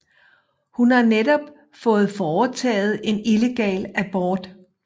Hun har netop fået foretaget en illegal abort